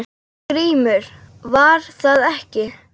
GRÍMUR: Var það ekki!